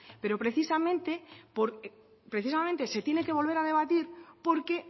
pero precisamente se tiene que volver a debatir porque